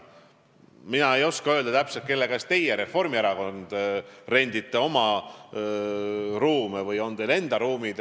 Mina ei oska täpselt öelda, kelle käest teie, Reformierakond, oma ruume rendite või kas teil on enda ruumid.